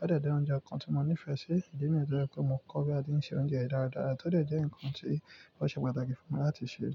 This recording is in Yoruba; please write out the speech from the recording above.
ó dé jẹ́ oúnjẹ kan tí mo nífẹ̀ẹ́ sí, ìdí nìyẹn tó jẹ́ pé mo kọ́ bí a ti ń se oúnjẹ yìí dáradára, tó dé jẹ́ nǹkan tí ó ṣe pàtàkì fún mi láti ṣe.